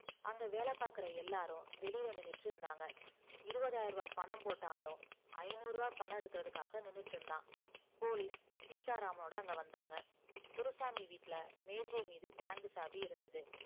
அங்க வேல பாக்குற எல்லாரும் வெளில நின்னுகிட்டு இருந்தாங்க இருவதாயரூவா பணம் போட்ட ஆளும் ஐநூர்வா பணம் எடுக்கறதுக்காக நின்னுகிட்டு இருந்தா police சீத்தா ராமனோட அங்க வந்தாங்க குருசாமி வீட்டுல மேஜை மீது bank சாவி இருந்தது